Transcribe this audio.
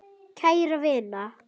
Kæra vina!